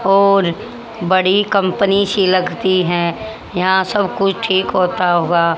और बड़ी कंपनी सी लगती है यहां सब कुछ ठीक होता हुआ--